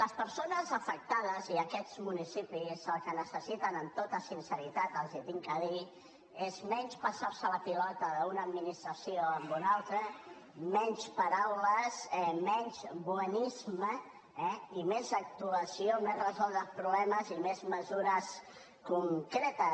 les persones afectades i aquests municipis el que necessiten amb tota sinceritat els ho haig de dir és menys passarse la pilota d’una administració a una altra menys paraules menys bonisme eh i més actuació més resoldre els problemes i més mesures concretes